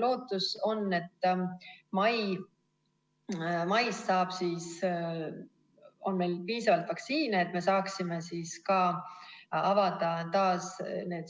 Lootus on, et mais on meil piisavalt vaktsiine, et me saame taas avada